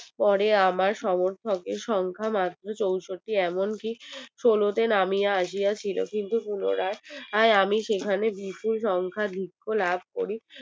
পরে আমার সমর্থকের সংখ্যা মাত্র চৌষট্টি এমন কি ষোলোতে নামিয়ে আসিতে ছিল কিন্তু পুনরায় আমি সেখানে বিপুল সংখ্যা যুক্ত লাভ করি